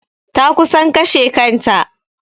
Ta kusan kashe kanta.